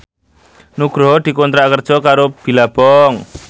Nugroho dikontrak kerja karo Billabong